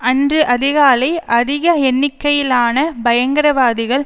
அன்று அதிகாலை அதிக எண்ணிக்கையிலான பயங்கரவாதிகள்